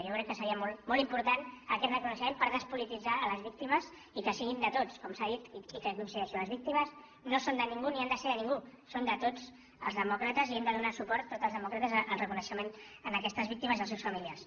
jo crec que seria molt important aquest reconeixement per despolititzar les víctimes i que siguin de tots com s’ha dit i que hi coincideixo les víctimes no són de ningú ni han de ser de ningú són de tots els demòcrates i hem de donar suport tots els demòcrates al reconeixement a aquestes víctimes i als seus familiars